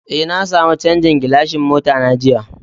Eh, na samu chanzan gilashin mota na jiya.